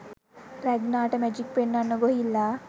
රැග්නාට magic පෙන්වන්න ගොහිල්ලා .